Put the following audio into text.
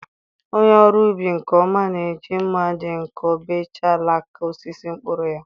onye ọrụ ubi nke ọma na-eji mma dị nkọ bechaa alaka osisi mkpụrụ ya.